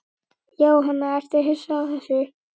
Jóhann: Ertu hissa á þessu?